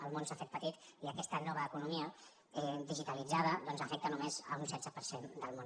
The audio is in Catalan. el món s’ha fet petit i aquesta nova economia digitalitzada afecta només un setze per cent del món